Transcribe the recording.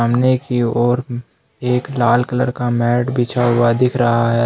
सामने की ओर एक लाल कलर का मैट बिछा हुआ दिख रहा है।